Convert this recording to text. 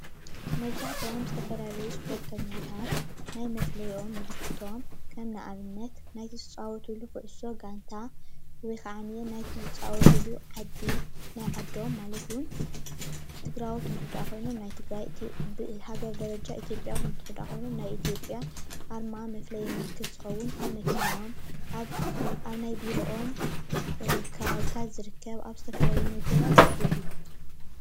መብዛሕትኦም ዝተፈላለዩ እስፖርተኛታት ናይ መፍለይኦም ምልክቶም ከም ንኣብነት ናይቲ ዝፃወትሉ ኩዕሶ ጋንታ ወይ ከዓ ናይቲ ዝፃወትሉ ዓዲ ናይ ዓዶም ማለት እውን ትግራዎት እተድኣ ኮይኖም ናይ ትግራይ ብሃገር ደረጃ ኢትዮጵያ እንድሕር ዳኣ ኮይኖም ናይ እትዮጵያ ኣርማ መፍለይ ምልክት ዝከውን ኣብ መኪነኦም ናይ ቢሮኦም ከባቢታት ዝርከብ ኣብ ዝተፈላለዩ ነገራት ይሕዙ፡፡